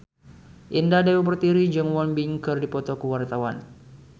Indah Dewi Pertiwi jeung Won Bin keur dipoto ku wartawan